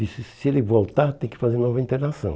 Disse, se ele voltar, tem que fazer nova internação.